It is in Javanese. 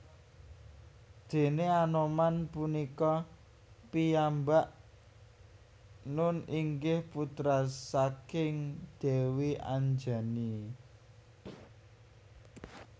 Déné Anoman punika piyambak nun inggih putra saking Dèwi Anjani